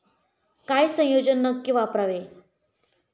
काय संयोजन नक्की वापरावे?